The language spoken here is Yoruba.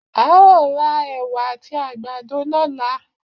A ó ra ẹ̀wà àti àgbàdo lọ́la.